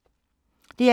DR2